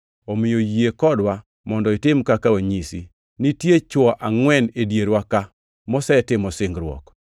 omiyo yie kodwa mondo itim kaka wanyisi. Nitie chwo angʼwen e dierwa ka mosetimo singruok.